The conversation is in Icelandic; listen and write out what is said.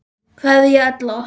Kveðja Ella.